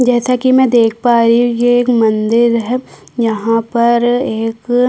जैसा कि मैं देख पा रही हूं ये एक मंदिर है यहाँ पर एक--